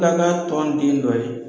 tɔn den dɔ ye